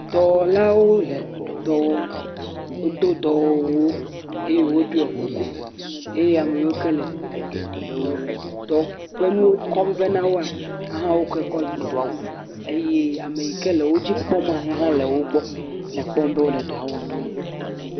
dɔwɔlawo le dɔwɔm wodó dɔwɔwuwo eye wó ɖiɔ kuku eye ameyiwo ke le dɔ ƒe nuwo kɔm vɛ nawoa hã koe kɔ gbɔna ye ameyike le wó dzi kpɔma yihaã le wógbɔ le kpɔm be wóle dɔwɔm